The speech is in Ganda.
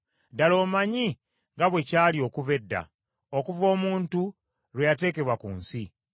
“Ddala omanyi nga bwe byali okuva edda, okuva omuntu lwe yateekebwa ku nsi,